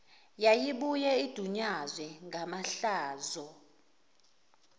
yayibuye idunyazwe ngamahlazo